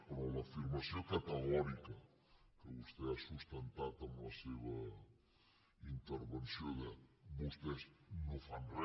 però l’afirmació categòrica que vostè ha sustentat amb la seva intervenció de vostès no fan re